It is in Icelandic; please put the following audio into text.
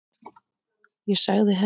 Ég sagði henni það.